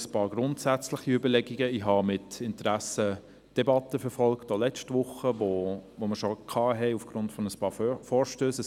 Ein paar grundsätzliche Überlegungen: Ich habe mit Interessen die Debatten, auch letzte Woche, verfolgt, welche wir aufgrund einiger Vorstösse führten.